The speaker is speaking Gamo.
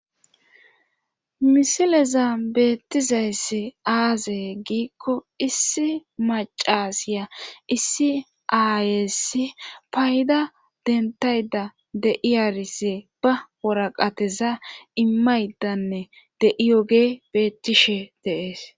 misileza beettizayssi aaze giikko issi macasyaa issi aayeessi payda dentayda de'iyarise ba woraqateza immaydanne de'iyoge beettishe de'ees